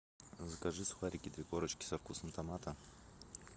закажи сухарики три корочки со вкусом томата